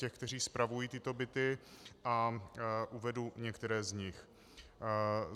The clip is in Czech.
Těch, kteří spravují tyto byty a uvedu některé z nich.